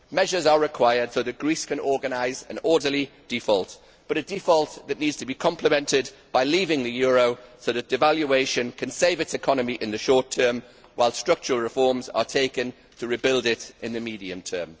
Measures are required so that Greece can organise an orderly default, but a default that needs to be complemented by leaving the euro so that devaluation can save its economy in the short term, while structural reforms are taken to rebuild it in the medium term.